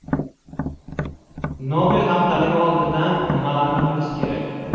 Nobel haftaligi oldidan nimalarni bilish kerak?